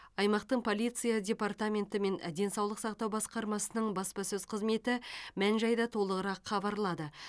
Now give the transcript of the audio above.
аймақтың полиция департаменті мен денсаулық сақтау басқармасының баспасөз қызметі мән жайды толығырақ хабарлады